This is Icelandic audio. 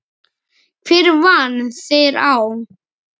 Hver vann þær þá?